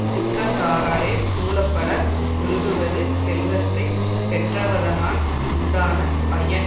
சுற்றத்தாராலே சூழப்பட ஒழுகுவது செல்வத்தை பெற்றவதனால் உண்டான பயன்